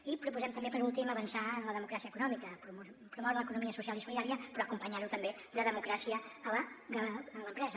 i proposem també per últim avançar en la democràcia econòmica promoure l’economia social i solidària però acompanyar·ho també de democràcia a l’empresa